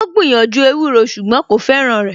Ó gbìyànjú ewúro ṣùgbọ́n kò fẹ́ràn rẹ̀